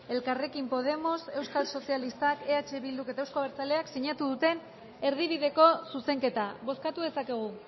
elkarrekin podemos euskal sozialistak eh bilduk eta euzko abertzaleak sinatu duten erdibideko zuzenketa bozkatu dezakegu